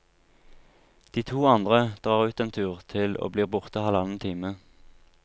De to andre drar ut en tur til og blir borte halvannen time.